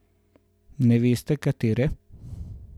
Ne veste, katere?